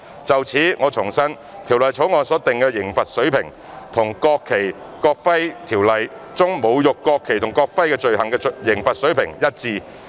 就此，我重申《條例草案》所訂的刑罰水平，與《國旗及國徽條例》中侮辱國旗或國徽罪行的刑罰水平一致。